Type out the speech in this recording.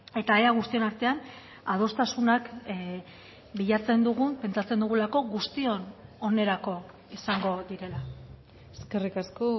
eta ea guztion artean adostasunak bilatzen dugun pentsatzen dugulako guztion onerako izango direla eskerrik asko